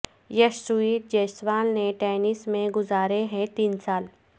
یشسوی جیسوال نے ٹینٹ میں گزارے ہیں تین سال